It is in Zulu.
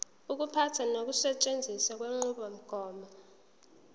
ukuphatha nokusetshenziswa kwenqubomgomo